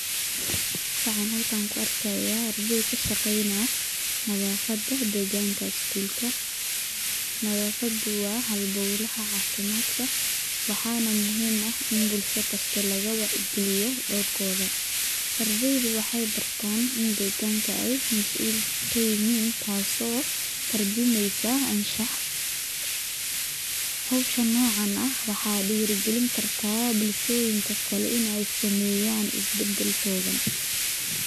Waxan xalkan kuarkaya ardey kashageyna nadafada deganka school]cs]ka, nadafadu wa xalbowlaxa cafimadka, waxana muxiim ah in bulsho kasta lagawacyi galiyo dorkoda, ardeydu waxay bartan in degaanka ay masuul kayixin, taaso tarjumeysa anshax, xowshaan nocan ah waxa dirigalin karta bulshoyinka kale ina sameyan isbadalkoda.